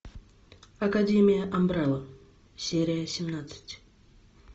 академия амбрелла серия семнадцать